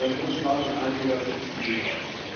Es ist ein hohes Maß an Einlegerschutz gesichert.